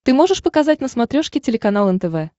ты можешь показать на смотрешке телеканал нтв